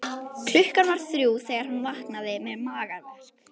Klukkan var þrjú þegar hann vaknaði með magaverk.